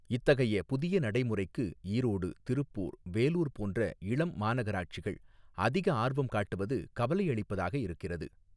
இத்தகைய புதிய நடைமுறைக்கு ஈரோடு திருப்பூர் வேலூர் போன்ற இளம் மாநகராட்சிகள் அதிக ஆர்வம் காட்டுவது கவலை அளிப்பதாக இருக்கிறது.